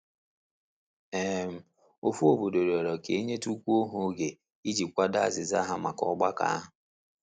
um Ofu otu obodo rịọrọ ka e nyetukwuo ha oge i ji kwado azịza ha maka ọgbakọ ahu.